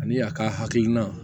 Ani a ka hakilina